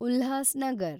Ulhasnagar